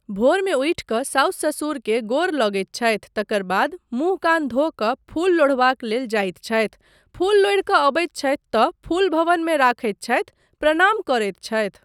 भोरमे उठि कऽ साउस ससुर केँ गोर लगैत छथि तकर बाद मुँह कान धो कऽ फूल लोढ़बाक लेल जाइत छथि, फूल लोढ़ि कऽ अबैत छथि तँ फूल भवनमे रखैत छथि, प्रणाम करैत छथि।